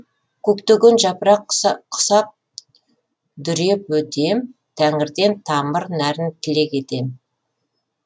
көктеген жапырақ құсап дүреп өтем тәңірден тамыр нәрін тілек етем